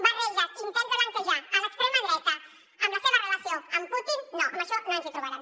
barreges intents de blanquejar l’extrema dreta amb la seva relació amb putin no en això no ens hi trobaran